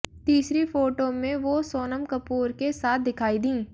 तीसरी फोटो में वो सोनम कपूर के साथ दिखाई दीं